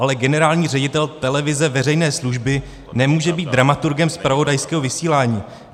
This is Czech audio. Ale generální ředitel televize veřejné služby nemůže být dramaturgem zpravodajského vysílání.